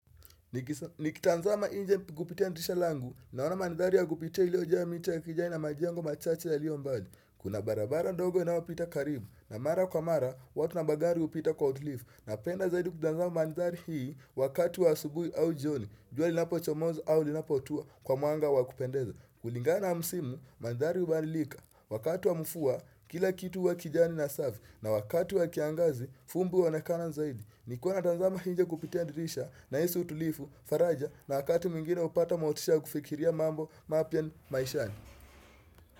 Nikitazama nje kupitia dirisha langu naona mandhari ya kupitia iliyojaa miti ya kijani na majengo machache yaliyo mbali. Kuna barabara ndogo inayopita karibu na mara kwa mara watu na magari hupita kwa uadilifu. Napenda zaidi kutazama mandhari hii wakat wa asubuhi au jioni jua linapochomozi au linapotuwa kwa mwanga wa kupendeza kulingana na msimu mandhari hubadilika wakati wa mvua kila kitu huwa kijani na safi. Na wakati wa kiangazi, fumbi huonekana zaidi. Nilikuwa natazama nje kupitia dirisha nahisi utulivu, faraja na wakati mwingine hupata motisha kufikiria mambo mapya ni maishani.